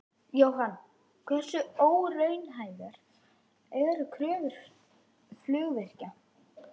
Jóhann: Hversu óraunhæfar eru kröfur flugvirkja?